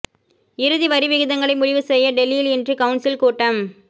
இறுதி வரி விகிதங்களை முடிவு செய்ய டெல்லியில் இன்று கவுன்சில் கூட்டம்